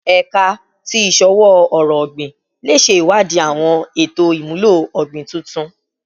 Ẹka ti Iṣowo-ọrọ ogbin le ṣe iwadii awọn eto imulo ogbin tuntun